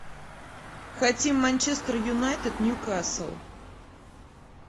хотим манчестер юнайтед ньюкасл